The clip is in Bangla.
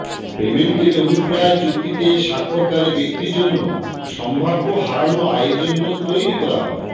পেমেন্টের অভিপ্রায় চুক্তিতে স্বাক্ষরকারী ব্যক্তির জন্য সম্ভাব্য হারানো আয়ের জন্য তৈরি করা হয়